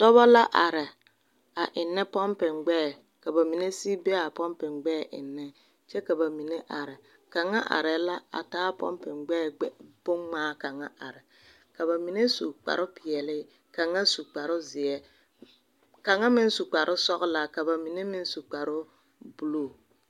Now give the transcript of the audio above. Dɔbɔ la are a ennɛ popigbɛɛ ka ba mine are mine sigi be ennɛ kyɛ ka ba mine are kaŋa arɛɛ la a taa a pompi gbɛɛ boŋ ŋmaa kaŋa are ka ba mine su kpare peɛle ka kaŋa su kparre zeɛ ka meŋ su kparre sɔglɔ ka ba mine medaare ŋ kõɔ su buluu.